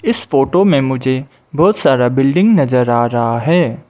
इस फोटो में मुझे बहोत सारा बिल्डिंग नजर आ रहा है।